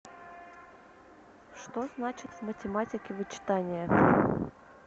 что значит в математике вычитание